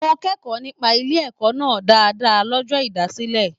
Mo kẹkọọ nípa ilé ẹ̀kọ́ náà dáadáa l'ọjọ ìdásílẹ̀.